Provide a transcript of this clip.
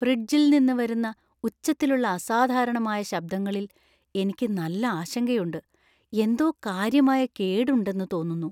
ഫ്രിഡ്ജിൽ നിന്ന് വരുന്ന ഉച്ചത്തിലുള്ള അസാധാരണമായ ശബ്‌ദങ്ങളിൽ എനിക്ക് നല്ല ആശങ്കയുണ്ട്, എന്തോ കാര്യമായ കേട് ഉണ്ടെന്നു തോന്നുന്നു.